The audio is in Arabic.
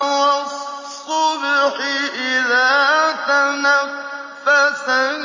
وَالصُّبْحِ إِذَا تَنَفَّسَ